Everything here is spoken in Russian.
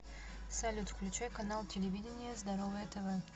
салют включай канал телевидения здоровое тв